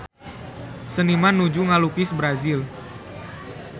Seniman nuju ngalukis Brazil